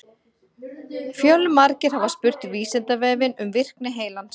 Fjölmargir hafa spurt Vísindavefinn um virkni heilans.